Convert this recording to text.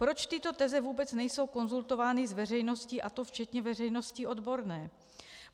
Proč tyto teze vůbec nejsou konzultovány s veřejností, a to včetně veřejnosti odborné?